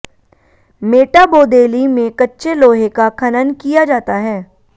मेटाबोदेली में कच्चे लोहे का खनन किया जाता है